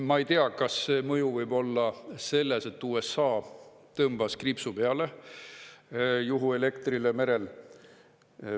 Ma ei tea, kas see mõju võib olla selles, et USA tõmbas kriipsu peale juhuelektrile merel.